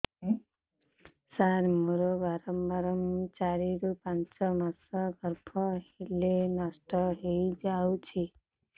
ସାର ମୋର ବାରମ୍ବାର ଚାରି ରୁ ପାଞ୍ଚ ମାସ ଗର୍ଭ ହେଲେ ନଷ୍ଟ ହଇଯାଉଛି